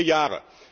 vier Jahre